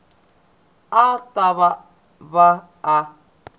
a a ta va a